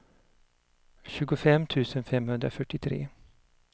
tjugofem tusen femhundrafyrtiotre